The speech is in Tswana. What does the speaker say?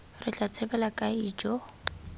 re tla tshabela kae ijoo